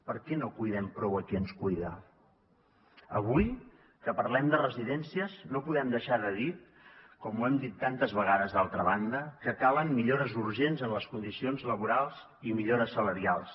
per què no cuidem prou a qui ens cuida avui que parlem de residències no podem deixar de dir com ho hem dit tantes vegades d’altra banda que calen millores urgents en les condicions laborals i millores salarials